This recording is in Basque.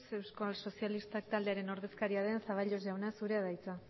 euskal sozialistak taldearen ordezkaria den zaballos jauna zurea da hitza